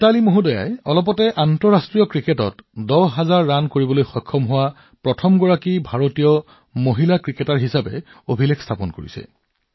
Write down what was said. মিথালী জীয়ে শেহতীয়াকৈ আন্তৰ্জাতিক ক্ৰিকেটত দহ হাজাৰ ৰাণ কৰা প্ৰথমগৰাকী ভাৰতীয় মহিলা ক্ৰিকেটাৰ হিচাপে অভিলেখ গঢ়িছে